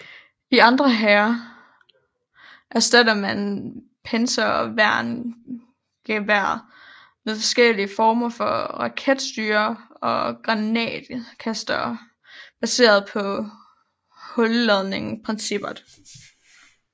I andre hære erstattede man panserværnsgeværet med forskellige former for raketstyr og granatkastere baseret på hulladningsprincippet